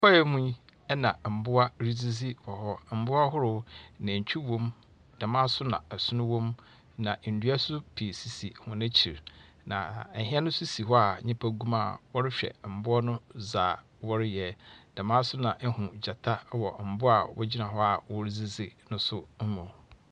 Kwae yi mu na mboa redzidzi wɔ hɔ. Mboa ahorow, natwi wɔ mu, dɛm ara nso na ɔson wɔ mu. Na ndua pii sisi hɔn akyi, na hɛn si hɔ a nnipa gu mu a wɔrehwɛ mboa no dzaa wɔreyɛ. Dɛm ara nso na ihu gyata wɔ mboa a wɔredzdzi no mu.